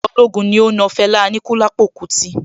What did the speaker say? Ìjọba ológun ní ó na Fẹlá Aníkúlápó kútí.